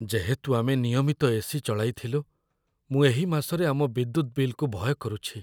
ଯେହେତୁ ଆମେ ନିୟମିତ ଏ.ସି. ଚଳାଇଥିଲୁ, ମୁଁ ଏହି ମାସରେ ଆମ ବିଦ୍ୟୁତ୍ ବିଲ୍‌କୁ ଭୟ କରୁଛି।